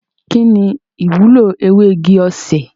Kini iwulo ewe igi osè?